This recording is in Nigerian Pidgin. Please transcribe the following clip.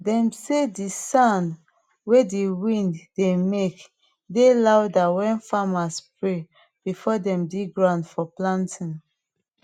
dem say de sound wey de wind dey make de louderwen farmers pray before dem dig ground for planting